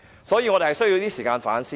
所以，我們需要一些時間去反思。